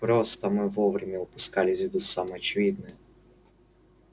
просто мы время упускали из виду все самое очевидное